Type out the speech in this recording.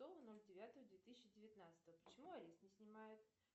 оль девятого две тысячи девятнадцатого почему арест не снимают